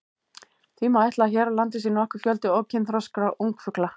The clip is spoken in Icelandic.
Því má ætla að hér á landi sé nokkur fjöldi ókynþroska ungfugla.